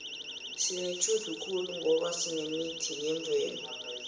sinetjhudu khulu ngoba sinemithi yemvelo